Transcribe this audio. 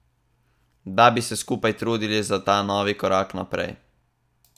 Da bi se skupaj trudili za ta novi korak naprej.